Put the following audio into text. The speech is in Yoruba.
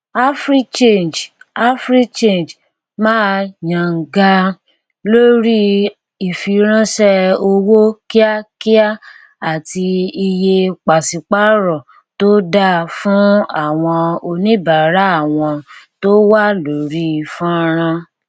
africhange africhange máa yangàn lórí ìfiránṣẹ owó kíákíá àti iye pàṣípàrọ tó da fún àwọn oníbàárà wọn tó wà lórí fọnrán